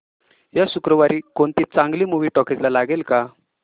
या शुक्रवारी कोणती चांगली मूवी टॉकीझ ला लागेल का